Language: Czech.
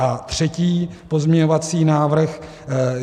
A třetí pozměňovací návrh.